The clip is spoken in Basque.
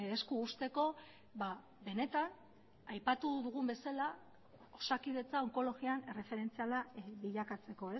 esku uzteko benetan aipatu dugun bezala osakidetza onkologian erreferentziala bilakatzeko